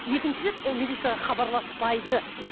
екінші рет ол милицияға хабарласпайды